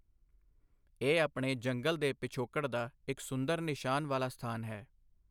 ਇਹ ਆਪਣੇ ਜੰਗਲ ਦੇ ਪਿਛੋਕੜ ਦਾ ਇੱਕ ਸੁੰਦਰ ਨਿਸ਼ਾਨ ਵਾਲਾ ਸਥਾਨ ਹੈ।